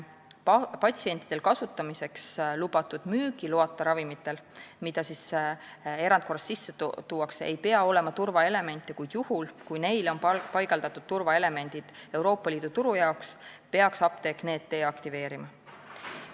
Patsientidele kasutamiseks lubatud müügiloata ravimitel, mida erandkorras Eestisse tuuakse, ei pea olema turvaelemente, kuid juhul, kui neile on paigaldatud turvaelemendid Euroopa Liidu turu jaoks, peaks apteek need deaktiveerima.